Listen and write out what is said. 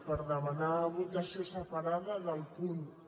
per demanar votació separada del punt un